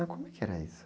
Ah, como é que era isso?